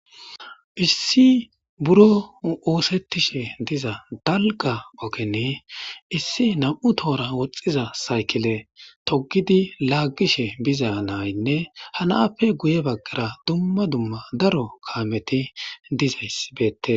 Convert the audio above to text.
Issi buro osetishe diza dalga ogen issi nam'u tora woxiza saykile togidi lageshe biza naynne ha nappe guye bagara dumma dumma daro kameti dizaysi betes